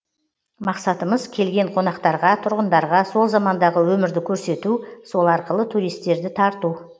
мақсатымыз келген қонақтарға тұрғындарға сол замандағы өмірді көрсету сол арқылы туристерді тарту